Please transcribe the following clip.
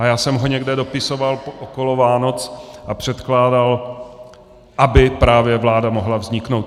A já jsem ho někde dopisoval, okolo Vánoc a předkládal, aby právě vláda mohla vzniknout.